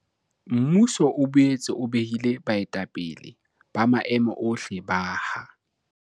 Mmuso o boetse o behile baetapele ba maemo ohle ba ha